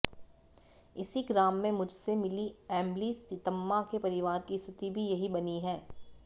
इसी ग्राम में मुझसे मिली एम्मली सीतम्मा के परिवार की स्थिति भी यही बनी है